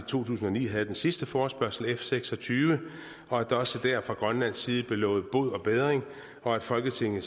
to tusind og ni havde den sidste forespørgsel f seks og tyve og at der også der fra grønlands side blev lovet bod og bedring og at folketinget